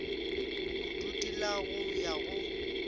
bodudi la go ya go